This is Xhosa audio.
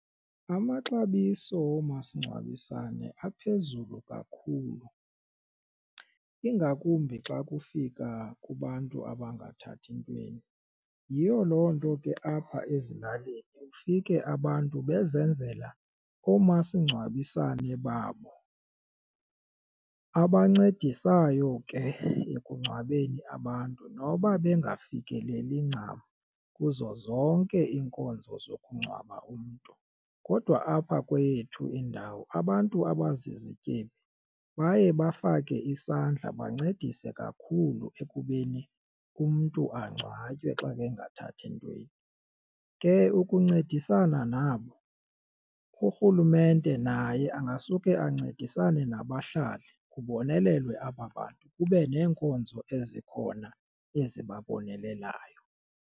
Amaxabiso omasingcwabisane aphezulu kakhulu ingakumbi xa kufika kubantu abangathathi ntweni yiyo loo nto ke apha ezilalini ufike abantu bezenzela oomasingcwabisane babo abancedisayo ke ekungcwabeni abantu noba bengafikeleli ncam kuzo zonke iinkonzo zokungcwaba umntu. Kodwa apha kweyethu indawo abantu abazizityebi baye bafake isandla bancedise kakhulu ekubeni umntu angcwatywe xa bengathathi ntweni, ke ukuncedisana nabo urhulumente naye angasuke ancedisane nabahlali kubonelelwe aba bantu kube neenkonzo ezikhona ezibabonelelayo.